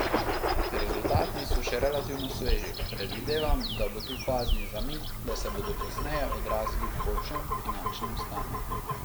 Rezultati so še relativno sveži, predvidevam, da bo tu fazni zamik, da se bodo kasneje odrazili v boljšem finančnem stanju.